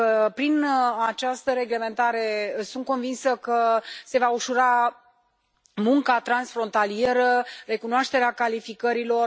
Prin această reglementare, sunt convinsă că se va ușura munca transfrontalieră, recunoașterea calificărilor.